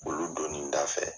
olu don ni da fɛ.